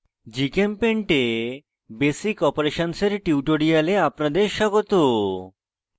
gchempaint এ basic operations এর tutorial আপনাদের স্বাগত